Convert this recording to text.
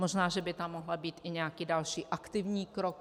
Možná že by tam mohl být i nějaký další aktivní krok.